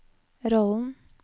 rollen